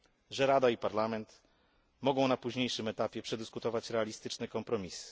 że Rada i Parlament mogą na późniejszym etapie przedyskutować realistyczny kompromis.